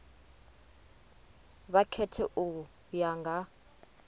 vha khethe u ya nga